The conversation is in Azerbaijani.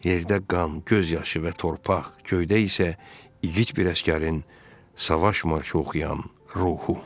Yerdə qan, göz yaşı və torpaq, göydə isə igid bir əsgərin savaş marşı oxuyan ruhu.